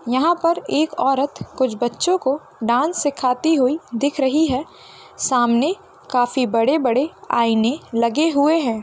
यहाँ पर एक औरत कुछ बच्चों को डांस सिखाती हुई दिख रही है | सामने काफी बड़े बड़े आईने लगे हुए है।